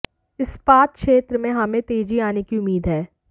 इस्पात क्षेत्र में हमें तेजी आने की उम्मीद है